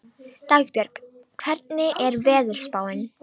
Dagbjörg, hvernig er veðurspáin?